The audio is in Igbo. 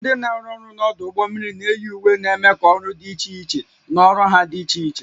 Ndị na-arụ ọrụ n'ọdụ ụgbọ mmiri na-eyi uwe na-eme ka ọrụ dị iche iche na ọrụ ha dị iche iche